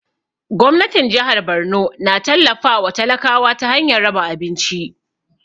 Gwamnatin jahar Borno na tallafa wa talakawa ta hanyar raba abinci